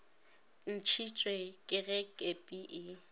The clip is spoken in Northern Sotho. ntšhitšwe ke ge kepi e